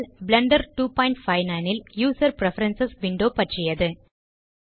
Blender 259 ல் user preference window பற்றியது